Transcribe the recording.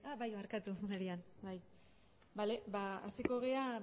barkatu marian bai bale ba hasiko gera